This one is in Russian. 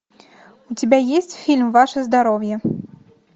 у тебя есть фильм ваше здоровье